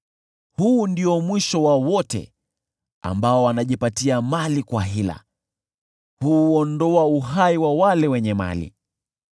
Huu ndio mwisho wa wote ambao wanajipatia mali kwa hila; huuondoa uhai wa wale wenye mali.